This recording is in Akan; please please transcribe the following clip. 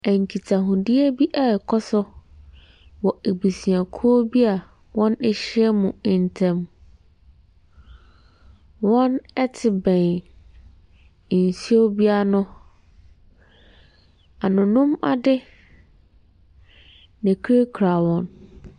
Nkitahodie bi rekɔ so wɔ abusuakuo bi a wɔahyiam ntam. Wɔte bɛn nsuo bi ano. Anonom ade na ɛkurakura wɔn.